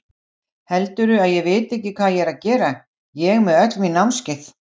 Heldurðu að ég viti ekki hvað ég er að gera, ég með öll mín námskeið.